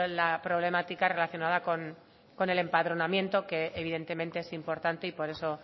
la problemática relacionada con el empadronamiento que evidentemente es importante y por eso